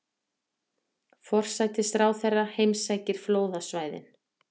Forsætisráðherra heimsækir flóðasvæðin